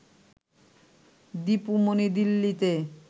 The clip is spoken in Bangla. দীপু মনি দিল্লিতে